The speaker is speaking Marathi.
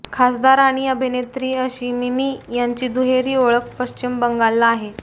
खासदार आणि अभिनेत्री अशी मिमी यांची दुहेरी ओळख पश्चिम बंगालला आहे